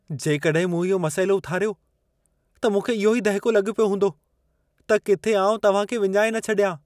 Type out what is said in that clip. जेकॾहिं मूं इहो मसइलो उथारियो, त मूंखे इहो ई दहिको लॻो पियो हूंदो त किथे आउं तव्हां खे विञाए न छॾियां।